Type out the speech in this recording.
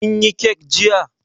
Kin yi kek jiya?